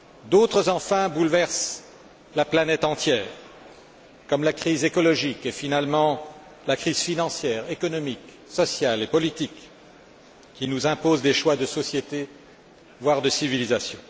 D'autres, enfin, bouleversent la planète entière, comme la crise écologique et, finalement, la crise financière, économique, sociale et politique, qui nous imposent des choix de société, voire de civilisation.